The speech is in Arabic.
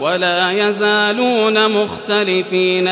وَلَا يَزَالُونَ مُخْتَلِفِينَ